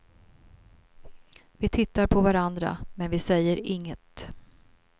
Vi tittar på varandra men vi säger inget.